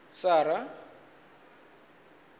sara